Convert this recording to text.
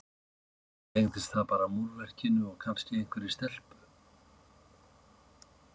kannski tengdist það bara múrverkinu og kannski einhverri stelpu.